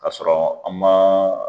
Ka sɔrɔ an ma